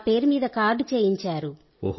నా పేరు మీద కార్డు చేయించారు